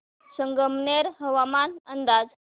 संगमनेर हवामान अंदाज